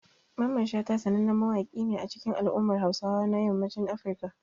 Mamman Shata sanannen mawaƙi ne a cikin al'ummar Hausawa na yammacin Africa.